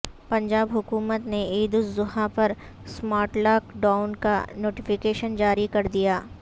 پنجاب حکومت نےعید الاضحی پر سمارٹ لاک ڈائون کا نوٹیفکیشن جاری کردیا